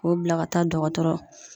K'o bila ka taa dɔgɔtɔrɔ